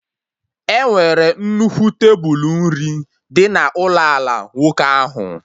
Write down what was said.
E nwere nnukwu tebulu nri dị na ụlọ ala nwoke ahụ